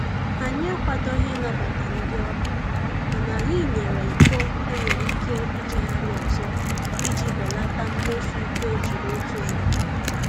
Anyị akwadoghị ịnabata ndị ọbịa mana anyị nyere iko e nwere ike ijigharị ọzọ iji belata mmefu iko e jiri otu mgbe